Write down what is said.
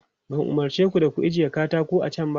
Ban umarce ku da ku ajiye katako a can ba?